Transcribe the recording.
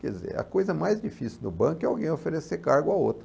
Quer dizer, a coisa mais difícil do banco é alguém oferecer cargo a outro.